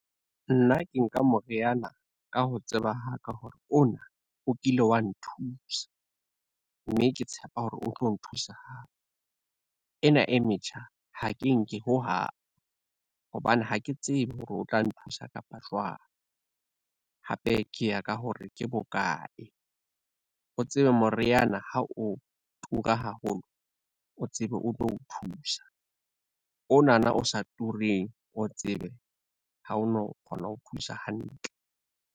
Nna ke nka moriana ka ho tseba ha ka hore ona o kile wa nthusa, mme ke tshepa hore o tlo nthusa hape. Ena e metjha ha ke nke ho hang, hobane ha ke tsebe hore o tla nthusa kapa jwang, hape ke ya ka hore ke bokae. O tsebe moriana ho o tura haholo, o tsebe o tlo o thusa onana o sa tureng o tsebe ha o no kgona ho thusa hantle.